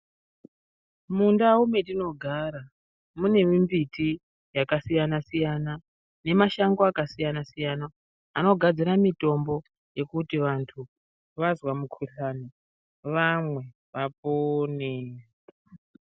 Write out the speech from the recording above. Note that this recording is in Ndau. Mundau mwetinogara mune mimbiti yakasiyana siyana nemashango akasiyana siyana anogadzira mitombo yekuti vanthu vazwa mukhuhlani vamwe vapone.